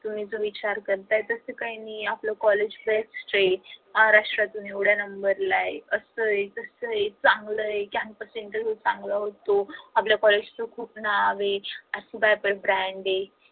तुम्ही जो विचार करताय तस काही नाही आहे आपल college life महाराष्ट्रातून एवड्या नंबर ला आहे आस आहे न तस आहे चांगल आहे campus interview चांगला होतो आपल्या college च खूप नाव आहे brand आहे